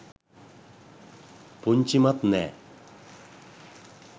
පුංචිමත් නෑ